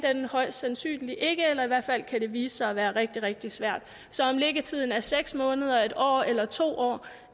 højst sandsynligt ikke eller i hvert fald kan det vise sig at være rigtig rigtig svært så om liggetiden er seks måneder en år eller to år